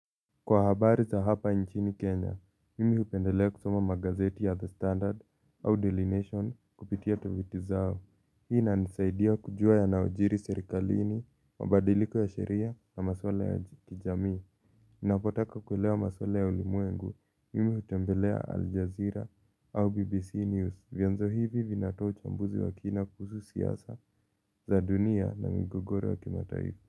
Kwa habari za hapa nchini Kenya, mimi hupendelea kusoma magazeti ya The Standard au Dairy nation kupitia tovuti zao. Hii inanisaidia kujua yanayojiri serikalini, mabadiliko ya sheria na maswala ya kijamii. Ninapotaka kulewa maswala ya ulimwengu, mimi hutembelea Al Jazeera au BBC News. Vyanzo hivi vinatoa uchambuzi wa kina kuhusu siasa za dunia na migogoro wa kimataifa.